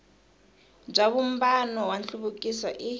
bya vumbano wa nhluvukiso i